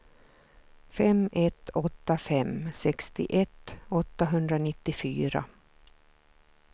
fem ett åtta fem sextioett åttahundranittiofyra